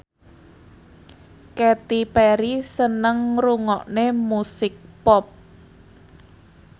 Katy Perry seneng ngrungokne musik pop